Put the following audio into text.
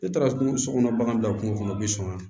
Ne taara so kɔnɔ bagan bila kungo kɔnɔ bi sɔn wa